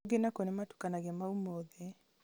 kũngĩ nakuo nĩmatukanagia mau mothe